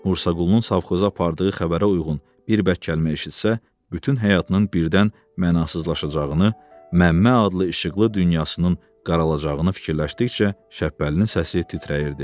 Musaqulunun savxoza apardığı xəbərə uyğun bir bəd kəlmə eşitsə, bütün həyatının birdən mənasızlaşacağını, Məmmə adlı işıqlı dünyasının qaralacağını fikirləşdikcə, Şəbpəlinin səsi titrəyirdi.